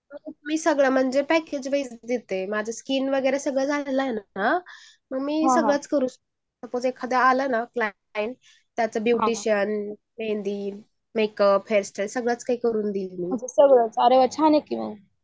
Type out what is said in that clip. मी सगळं म्हणजे पॅकेज वर देते माझं स्किल वगैरे सगळं झालाय ना . मी सगळंच करू शकते त्याच ब्युटिशियन, मेहंदी ,मेकअप , हेअरस्टाईल सगळंच काही करून देते मी. ओक छान आहे कि मग